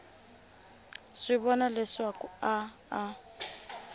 swi vona leswaku a a